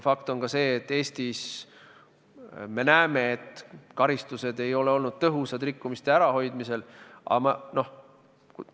Fakt on ka see, et Eestis me näeme, et karistused ei ole olnud rikkumiste ärahoidmisel tõhusad.